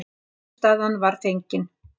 Niðurstaðan var fengin.